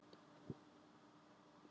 Hef enga forsendu.